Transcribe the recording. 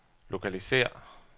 lokalisér